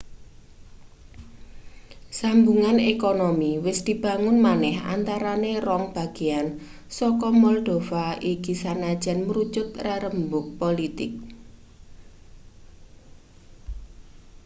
sambungan ekonomi wis dibangun maneh antarane rong bagean saka moldova iki sanajan mrucut rerembug politik